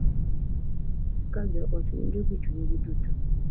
Ka jo ot winjo gi chunygi duto,